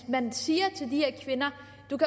man siger til de her kvinder